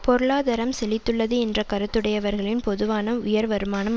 பொருளாதாரம் செழித்துள்ளது என்ற கருத்துடையவர்களின் பொதுவாக உயர் வருமானம்